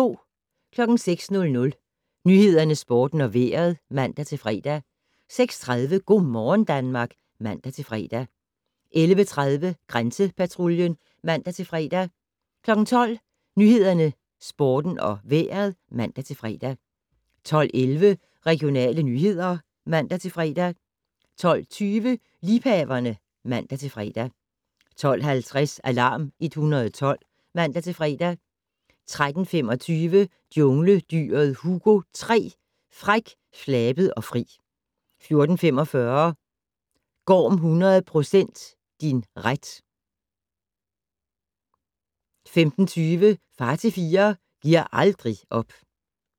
06:00: Nyhederne, Sporten og Vejret (man-fre) 06:30: Go' morgen Danmark (man-fre) 11:30: Grænsepatruljen (man-fre) 12:00: Nyhederne, Sporten og Vejret (man-fre) 12:11: Regionale nyheder (man-fre) 12:20: Liebhaverne (man-fre) 12:50: Alarm 112 (man-fre) 13:25: Jungledyret Hugo 3: Fræk, flabet og fri 14:45: Gorm 100 % din ret 15:20: Far til fire - gi'r aldrig op